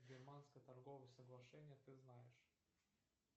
германское торговое соглашение ты знаешь